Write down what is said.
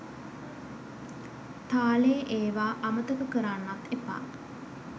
තාලේ ඒවා අමතක කරන්නත් එපා.